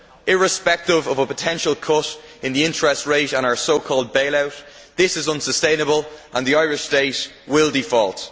Irrespective of a potential cut in the interest rate and our so called bail out, this is unsustainable and the Irish State will default.